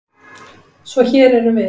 Svo hér erum við.